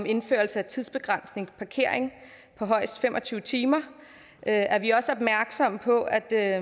indførelsen af tidsbegrænset parkering på højst fem og tyve timer er er vi også opmærksomme på at der er